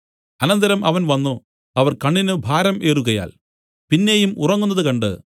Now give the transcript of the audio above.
അനന്തരം അവൻ വന്നു അവർ കണ്ണിന് ഭാരം ഏറുകയാൽ പിന്നെയും ഉറങ്ങുന്നത് കണ്ട്